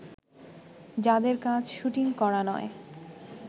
যাদের কাজ শুটিং করা নয়